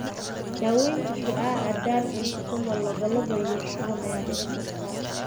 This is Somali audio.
Dawaynta shucaaca, daal, cunto xumo, lalabo, iyo shuban ayaa dhici karta.